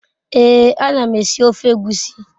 Ee anam esi ofe egwusi